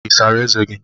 I sara eze gi?